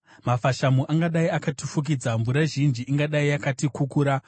mafashamu angadai akatifukidza, mvura zhinji ingadai yakatikukura,